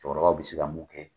Cɛkɔrɔba bɛ se ka mun kɛ